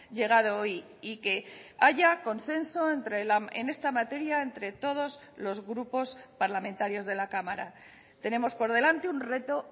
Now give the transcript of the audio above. llegado hoy y que haya consenso en esta materia entre todos los grupos parlamentarios de la cámara tenemos por delante un reto